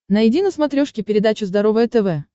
найди на смотрешке передачу здоровое тв